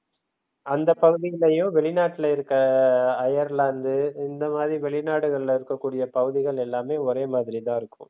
அந்தப் பகுதியிலேயே வெளிநாட்டுல இருக்க அயர்லாந்து இந்த மாதிரி வெளிநாடுகள்ல இருக்கக்கூடிய பகுதிகள் எல்லாமே ஒரே மாதிரி தான் இருக்கும்.